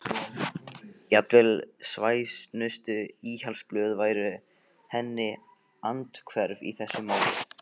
Jafnvel svæsnustu íhaldsblöð væru henni andhverf í þessu máli.